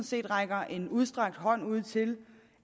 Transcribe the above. set rækker en udstrakt hånd ud til